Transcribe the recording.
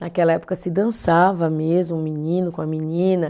Naquela época se dançava mesmo, o menino com a menina.